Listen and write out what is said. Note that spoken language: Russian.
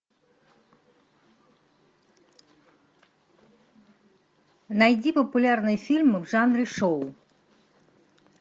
найди популярные фильмы в жанре шоу